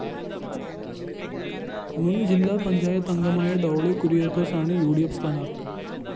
മുന്‍ ജില്ലാ പഞ്ചായത്തംഗമായ ഡോളി കുര്യാക്കോസാണ് ഉ ഡി ഫ്‌ സ്ഥാനാര്‍ഥി